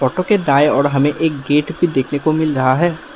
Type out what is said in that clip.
Photo दाएं और हमें एक गेट भी देखने को मिल रहा है।